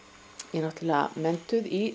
ég er náttúrulega menntuð í